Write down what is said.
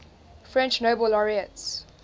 french nobel laureates